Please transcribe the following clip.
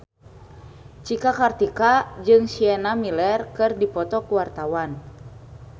Cika Kartika jeung Sienna Miller keur dipoto ku wartawan